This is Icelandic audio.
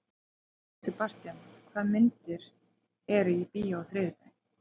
Sebastian, hvaða myndir eru í bíó á þriðjudaginn?